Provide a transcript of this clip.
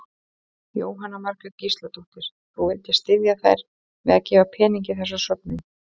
Jóhanna Margrét Gísladóttir: Þú vildir styðja þær með að gefa pening í þessa söfnun?